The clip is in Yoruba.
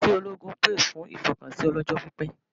Iṣẹ́ ológun pè fún ìfọkànsìn ọlọ́jọ́pípẹ́